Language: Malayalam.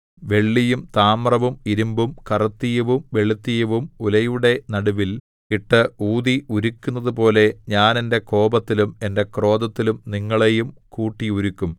വെള്ളിയും താമ്രവും ഇരിമ്പും കറുത്തീയവും വെളുത്തീയവും ഉലയുടെ നടുവിൽ ഇട്ട് ഊതി ഉരുക്കുന്നതുപോലെ ഞാൻ എന്റെ കോപത്തിലും എന്റെ ക്രോധത്തിലും നിങ്ങളെയും കൂട്ടിയുരുക്കും